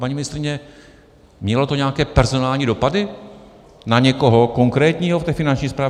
Paní ministryně, mělo to nějaké personální dopady na někoho konkrétního v té Finanční správě?